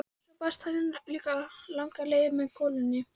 Svo barst hann líka langar leiðir að með golunni.